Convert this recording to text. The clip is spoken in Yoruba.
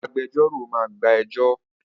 Agbẹjọ́rò máa gba ẹjọ́